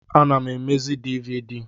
Ana m emezi dịvịdị